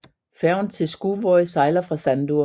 Færgen til Skúvoy sejler fra Sandur